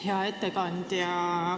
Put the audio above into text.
Hea ettekandja!